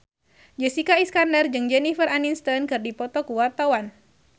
Jessica Iskandar jeung Jennifer Aniston keur dipoto ku wartawan